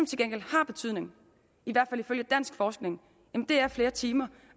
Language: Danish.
til gengæld har betydning i hvert fald ifølge dansk forskning er flere timer